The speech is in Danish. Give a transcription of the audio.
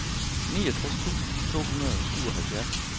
niogtres tusind to hundrede og syvoghalvfjerds